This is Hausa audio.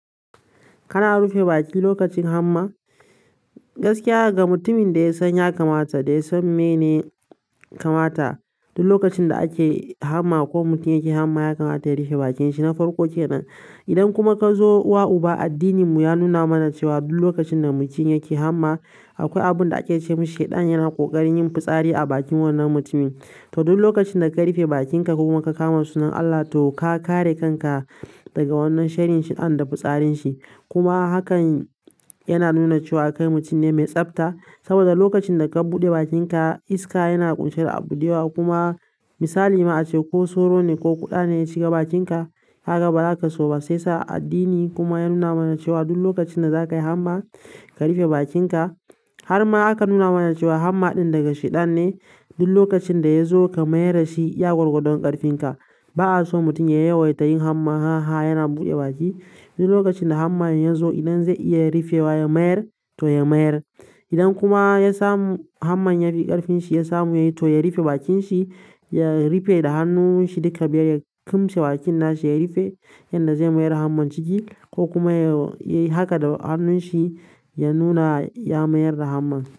Kana rufe baki lokacin hamma? Gaskiya ga mutumin da ya sanya kamata, da ya san mene yakamata duk lokacin da ake hamma ko mutum yake hamma yakamata ya rufe bakin shi, na farko kenan idan kuma kazo uwa uba addinin mu ya nuna mana cewa duk lokacin da mutum yake hamma akwai abunda ake cewa shedan yana fitsari a bakin wannan mutumin to duk lokacin da ka rufe bakinka kuma ka kama sunan Allah to ka kare kanka daga wannan sharin shi an da fitsarin shi. Kuma hakan yana nuna cewa kai mutum ne mai tsafta. Saboda lokacin da ka buɗe bakinka iska yana ƙunsar abude wa kuma misali mu a ce ko soro ne ko kuɗa ne ya cika bakinka haka ba zaka so ba. Sai sa addini kuma ya nuna mana cewa duk lokacin da za ka yi hamma ka rufe bakinka. Har ma aka nuna mana cewa hamma ɗin daga sheɗan ne. Duk lokacin da ya zo ka mayar da shi iya gwargadon ƙarfin ka. Ba a so mutum ya yawaita yin hamma, ha ha yana buɗe baki. Duk lokacin da hamma ya zo idan zai iya rufewa ya mayar to ya mayar. Idan kuma ya samu hamman ya bi ƙarfin shi ya samu yayi to ya rufe bakin shi, ya rufe da hannun shi duka biyar, ya kumshi bakin nashi ya rufe yanda zai mayar da hamman ciki ko kuma ya yi haka da hannun shi ya nuna ya mayar da hamman.